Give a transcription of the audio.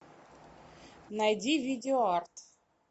найди видео арт